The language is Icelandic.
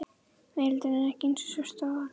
Veröldin er ekki eins svört og áður.